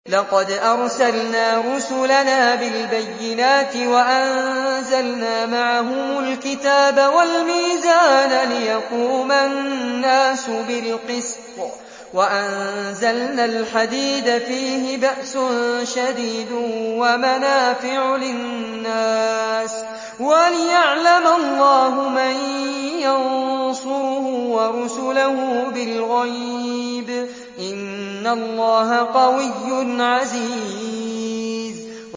لَقَدْ أَرْسَلْنَا رُسُلَنَا بِالْبَيِّنَاتِ وَأَنزَلْنَا مَعَهُمُ الْكِتَابَ وَالْمِيزَانَ لِيَقُومَ النَّاسُ بِالْقِسْطِ ۖ وَأَنزَلْنَا الْحَدِيدَ فِيهِ بَأْسٌ شَدِيدٌ وَمَنَافِعُ لِلنَّاسِ وَلِيَعْلَمَ اللَّهُ مَن يَنصُرُهُ وَرُسُلَهُ بِالْغَيْبِ ۚ إِنَّ اللَّهَ قَوِيٌّ عَزِيزٌ